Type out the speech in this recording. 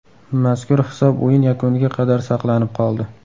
Mazkur hisob o‘yin yakuniga qadar saqlanib qoldi.